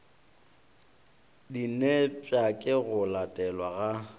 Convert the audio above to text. dinepša ke go latelelwa ga